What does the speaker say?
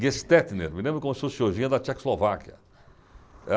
Gestetner, me lembro como se fosse hoje, vinha da Tchecoslováquia.